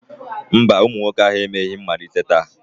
Mba, ụmụ nwoke ahụ emeghị mmalite taa